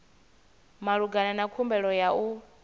malugana na khumbelo ya u